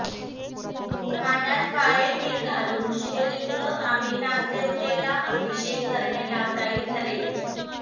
पाण्यात काळे तीळ घालून शिवलिंग आमि नागदेवतेला अभिषेक करणे लाभदायी ठरेल